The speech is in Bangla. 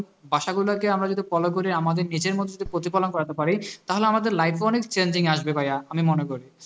বা সেইগুলোকে আমার যদি follow করি আমাদের নিজের মধ্যে প্রতিপালন করাতে পারি তাহলে আমাদের life এও অনেক changing আসবে ভাইয়া আমি মনে করি